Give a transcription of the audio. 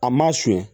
A ma sonya